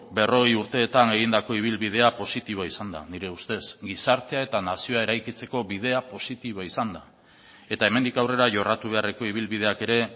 berrogei urteetan egindako ibilbidea positiboa izan da nire ustez gizartea eta nazioa eraikitzeko bidea positiboa izan da eta hemendik aurrera jorratu beharreko ibilbideak ere